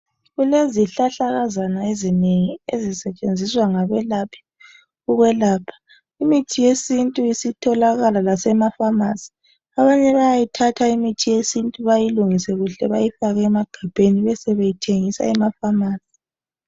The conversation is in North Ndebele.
Kulezihlahlakazana ezinengi ezisetshenziswa ngabelaphi ukwelapha. Imithi yesintu isitholakala lasemafamasi abanaye bayayithatha imithi yesintu bayilungise kuhle bayifake emagabheni besebeyithengisa emafamasi.